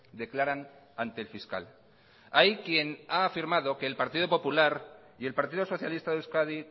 declaran ante el fiscal hay quien ha afirmado el partido popular y el partido socialista de euskadi